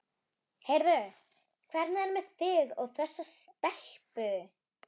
Heyrðu, hvernig er með þig og þessa stelpu?